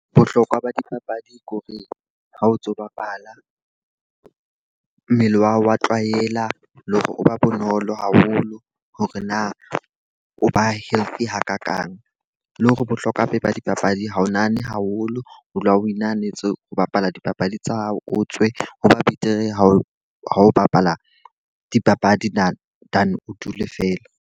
Bohlokwa ba dipapadi ko re ha o ntso bapala, mmele wa hao wa tlwaela le hore o ba bonolo haholo hore na o ba healthy hakakang. Le hore bohlokwa ba dipapadi ha o nahane haholo, o dula o wi nahanetse ho bapala dipapadi tsa hao, o tswe. Ho ba betere ha o ha o bapala dipapadi than than o dule feela.